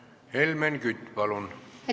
Helmen Kütt, palun!